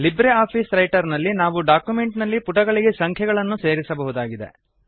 Libre office Writer ನಲ್ಲಿ ನಾವು document ನಲ್ಲಿ ಪುಟಗಳಿಗೆ ಸಂಖ್ಯೆಗಳನ್ನು ಸೇರಿಸಬಹುದಾಗಿದೆ